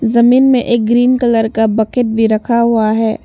जमीन में एक ग्रीन कलर का बॅकेट भी रखा हुआ हैं।